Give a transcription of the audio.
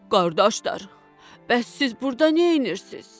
Qardaşlar, bəs siz burda neynirsiz?